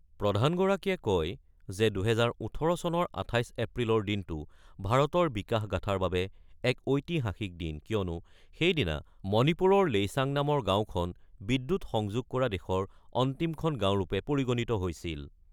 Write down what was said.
প্ৰধানগৰাকীয়ে কয় যে ২০১৮ চনৰ ২৮ এপ্ৰিলৰ দিনটো ভাৰতৰ বিকাশগাঁথাৰ বাবে এক ঐতিহাসিক দিন কিয়নো সেইদিনা মণিপুৰৰ লেইচাং নামৰ গাঁওখন বিদ্যুৎ সংযোগ কৰা দেশৰ অন্তিমখন গাঁওৰূপে পৰিগণিত হৈছিল।